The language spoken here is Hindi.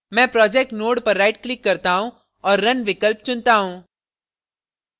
मैं project node पर right click करता run और run विकल्प चुनता run